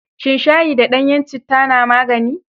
Shan shayi da ɗanyen citta na magani.